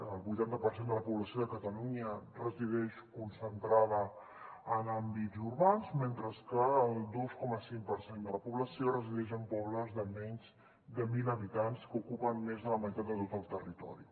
el vuitanta per cent de la població de catalunya resideix concentrada en àmbits urbans mentre que el dos coma cinc per cent de la població resideix en pobles de menys de mil habitants que ocupen més de la meitat de tot el territori